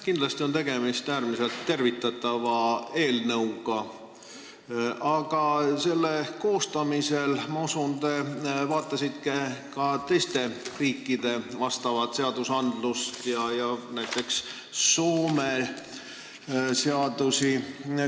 Kindlasti on tegemist äärmiselt tervitatava eelnõuga, aga ma usun, et te selle koostamisel vaatasite ka teiste riikide vastavaid seadusi, näiteks Soome seadusi.